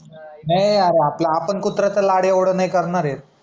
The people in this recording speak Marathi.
नाही यार आपल आपण कुत्राचा लाड एवढ नाही करणार आहे